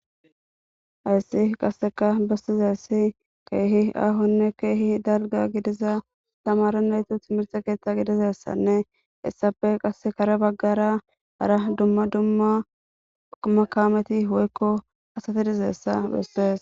Hayssi qassekka bessizayssi keehi aahonne keehi dalgga gidiza tamaare naytas timirtte kerththa gidizayssanne hessappe kare bagara dumma dumma kaameti woykko asati dizayssa besees.